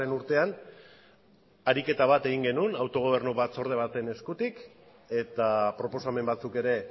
urtean ariketa bat egin genuen autogobernu batzorde baten eskutik eta proposamen batzuk ere